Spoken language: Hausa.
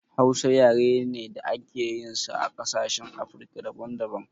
Hausa yare ne da ake yin sa a ƙasashen afrika daban daban